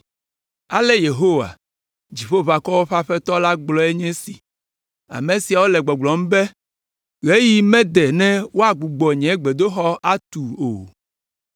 Ale Yehowa, Dziƒoʋakɔwo ƒe Aƒetɔ la gblɔe nye esi: “Ame siawo le gbɔgblɔm be, ‘Ɣeyiɣi mede ne woagbugbɔ nye gbedoxɔ atu o.’ ”